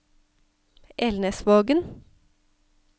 Elnesvågen